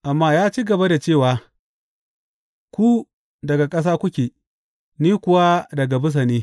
Amma ya ci gaba da cewa, Ku daga ƙasa kuke; ni kuwa daga bisa ne.